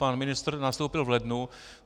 Pan ministr nastoupil v lednu.